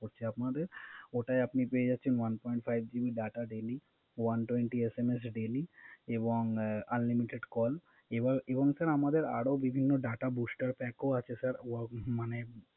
আপনাদের ওটাই আপনি পেয়ে যাচেছন One Point five GB data daily one twenty SMS daily এবং আনলিমিটেড প্লান। এবং Sir আমাদের বিভিন্ন Data Buster Pack ও আছে